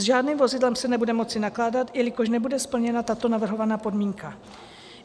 S žádným vozidlem se nebude moci nakládat, jelikož nebude splněna tato navrhovaná podmínka.